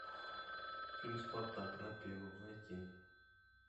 фильм спартак на первом найти